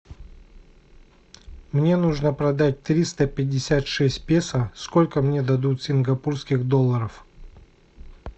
мне нужно продать триста пятьдесят шесть песо сколько мне дадут сингапурских долларов